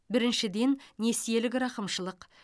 біріншіден несиелік рақымшылық